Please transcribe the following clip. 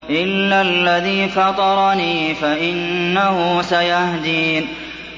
إِلَّا الَّذِي فَطَرَنِي فَإِنَّهُ سَيَهْدِينِ